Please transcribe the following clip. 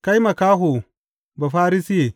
Kai makaho Bafarisiye!